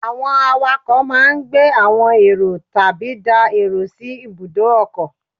Àwọn àwàkọ̀ máa gbé àwọn èrò tàbí dá èrò sí ibùdó ọkọ̀.